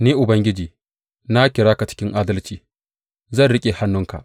Ni Ubangiji, na kira ka cikin adalci; zan riƙe hannunka.